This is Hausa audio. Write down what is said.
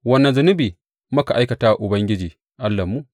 Wane zunubi muka aikata wa Ubangiji Allahnmu?’